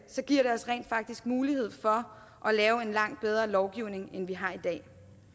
giver det os rent faktisk mulighed for at lave en langt bedre lovgivning end vi har i dag